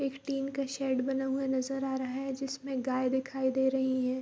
एक टिन का शेड बना हुआ नज़र आ रहा है जिसमे गाय दिखाई दे रही है ।